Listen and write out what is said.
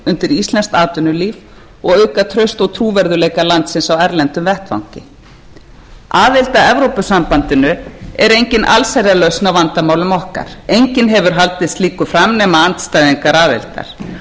undir íslenskt atvinnulíf og auka traust og trúverðugleika landsins á erlendum vettvangi aðild að evrópusambandinu er engin allsherjarlausn á vandamálum okkar enginn hefur haldið slíku fram nema andstæðingar aðildar rómantísk fjallasýn og dásömun á